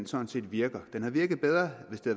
sådan set virker den havde virket bedre hvis det